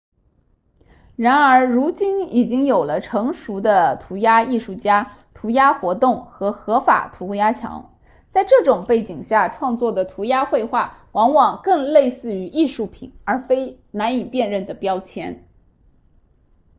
然而如今已经有了成熟的涂鸦艺术家涂鸦活动和合法涂鸦墙在这种背景下创作的涂鸦绘画往往更类似于艺术品而非难以辨认的标签